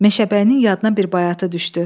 Meşəbəyinin yadına bir bayatı düşdü.